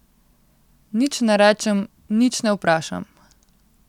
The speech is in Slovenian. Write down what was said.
Nič ne rečem, nič ne vprašam.